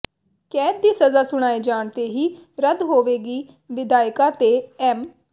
ਕੈਦ ਦੀ ਸਜ਼ਾ ਸੁਣਾਏ ਜਾਣ ਤੇ ਹੀ ਰੱਦ ਹੋਵੇਗੀ ਵਿਧਾਇਕਾਂ ਤੇ ਐਮ